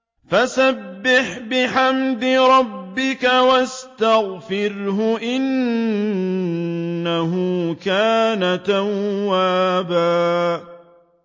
فَسَبِّحْ بِحَمْدِ رَبِّكَ وَاسْتَغْفِرْهُ ۚ إِنَّهُ كَانَ تَوَّابًا